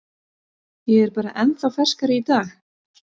Ég er bara ennþá ferskari í dag.